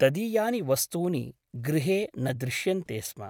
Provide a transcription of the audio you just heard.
तदीयानि वस्तूनि गृहे न दृश्यन्ते स्म ।